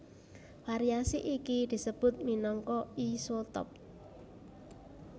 Variasi iki disebut minangka isotop